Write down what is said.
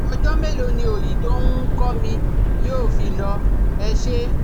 ọjọ́ mélòó ni òòyì tó nh kọ́ mi yóò fi lọ? Ẹ ṣé